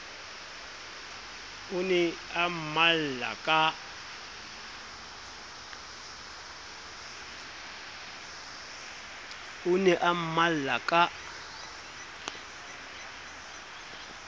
o ne a mmalla ka